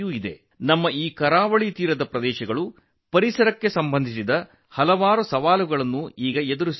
ನಮ್ಮ ಈ ಕರಾವಳಿ ಪ್ರದೇಶಗಳು ಪರಿಸರಕ್ಕೆ ಸಂಬಂಧಿಸಿದಂತೆ ಅನೇಕ ಸವಾಲುಗಳನ್ನು ಎದುರಿಸುತ್ತಿವೆ